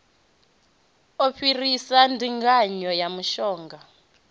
u fhirisa ndinganyo ya mishonga